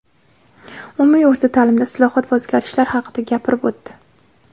umumiy o‘rta ta’limda islohot va o‘zgarishlar haqida gapirib o‘tdi.